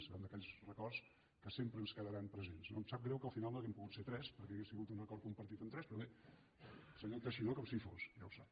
serà un d’aquells records que sempre ens quedaran presents no em sap greu que al final no hàgim pogut ser tres perquè hauria sigut un acord compartit amb tres però bé el senyor teixidó com si hi fos ja ho sap